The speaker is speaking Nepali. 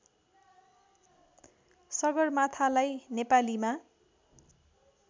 सगरमाथालाई नेपालीमा